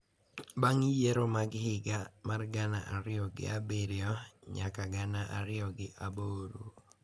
Bang’ yiero mag higa mar gana ariyo gi abiriyo nyaka gana ariyo gi aboro.